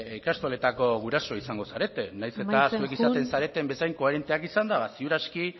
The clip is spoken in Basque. ikastoletako guraso izango zarete nahiz eta amaitzen joan zuek izaten zareten bezain koherenteak izanda ba ziur aski